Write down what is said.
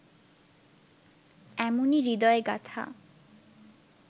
এমনই হৃদয়গাথা